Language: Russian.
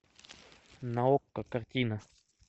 на окко картина